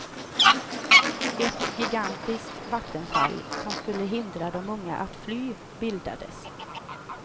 Ett gigantiskt vattenfall, som skulle hindra de unga att fly, bildades.